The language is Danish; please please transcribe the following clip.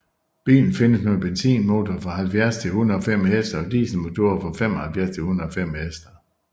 Bilen findes med benzinmotorer fra 70 til 105 hk og dieselmotorer fra 75 til 105 hk